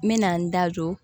N me na n da don